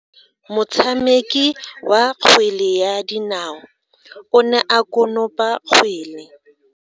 Motshameki wa kgwele ya dinao o ne a konopa kgwele.